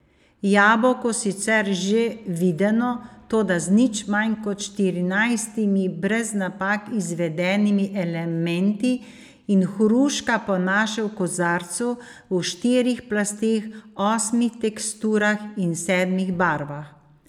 Jabolko sicer že videno, toda z nič manj kot štirinajstimi brez napak izvedenimi elementi, in hruška po naše v kozarcu, v štirih plasteh, osmih teksturah in sedmih barvah.